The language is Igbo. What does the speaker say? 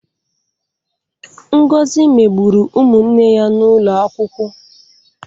Ngozi megburu ụmụ nne ya n'ụlọ akwụkwọ.